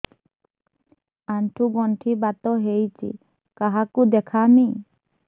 ଆଣ୍ଠୁ ଗଣ୍ଠି ବାତ ହେଇଚି କାହାକୁ ଦେଖାମି